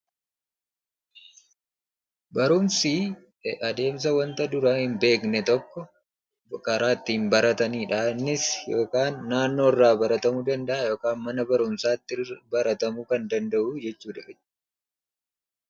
Barumsii adeemsa wanta duraan hin beekne tokko karaa ittiin baratanidha innis yookaan naannoorraa baratamuu danda'a yookaan mana barumsaatti baratamuu kan danda'u jechuudha.